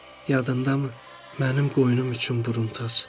Yadındamı, mənim qoyunum üçün buruntaç?